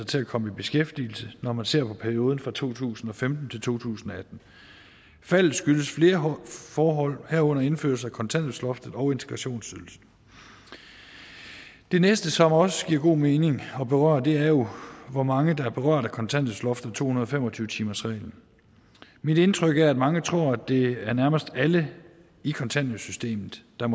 til at komme i beskæftigelse når man ser på perioden fra to tusind og femten til to tusind og atten faldet skyldes flere forhold herunder indførelse af kontanthjælpsloftet og integrationsydelsen det næste som det også giver god mening at berøre er jo hvor mange der er berørt af kontanthjælpsloftet og to hundrede og fem og tyve timersreglen mit indtryk er at mange tror at det nærmest er alle i kontanthjælpssystemet der